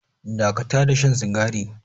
Dakata da shan sigari.